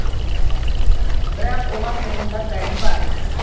бірақ оған тұрғындар дайын ба